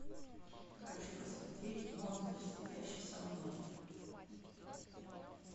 хочу посмотреть монстр сидящий со мной